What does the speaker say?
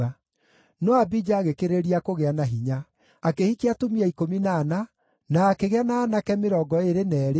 No Abija agĩkĩrĩrĩria kũgĩa na hinya. Akĩhikia atumia 14, na akĩgĩa na aanake 22 na airĩtu 16.